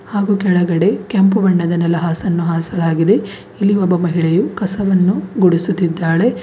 ಹಾಗು ಕೆಳಗಡೆ ಕೆಂಪು ಬಣ್ಣದ ನೆಲಹಾಸನ್ನು ಹಾಸಲಾಗಿದೆ ಇಲ್ಲಿ ಒಬ್ಬ ಮಹಿಳೆಯು ಕಸವನ್ನು ಗುಡಿಸುತ್ತಿದ್ದಾಳೆ.